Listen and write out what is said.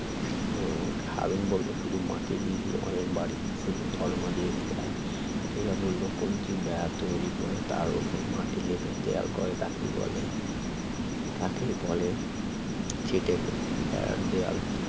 হুম হারুন বলল শুধু মাটি দি দিয়ে অনেক বাড়ি হয় সেই দরমা দিয়ে ঘেরা বিথীকা বলল কঞ্চির বেড়া তৈরি করে তার উপর মাটি লেপে দেয়াল করে তাকেই বলে তাকেই বলে ছিটেবেড়ার দেয়াল